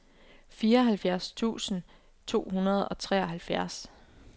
fireoghalvfjerds tusind to hundrede og treoghalvfjerds